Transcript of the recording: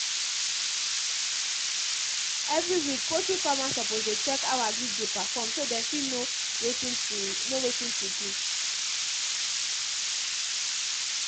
every week poultry farmers suppose dey check how agric dey perform so dem fit know watin to know watin to do